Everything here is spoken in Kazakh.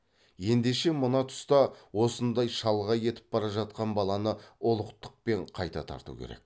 ендеше мына тұста осындай шалғай етіп бара жатқан баланы ұлықтықпен қайта тарту керек